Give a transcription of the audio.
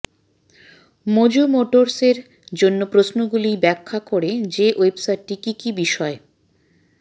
Mojo মোটরসের জন্য প্রশ্নগুলি ব্যাখ্যা করে যে ওয়েবসাইটটি কি কি বিষয়